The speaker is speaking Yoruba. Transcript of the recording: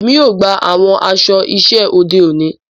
Èmi yóò gbà awọn aṣọ iṣẹ ode òní.